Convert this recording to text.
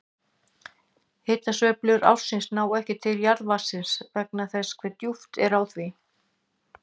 Hitasveiflur ársins ná ekki til jarðvatnsins vegna þess hve djúpt er á því.